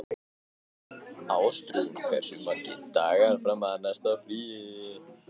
Ástrún, hversu margir dagar fram að næsta fríi?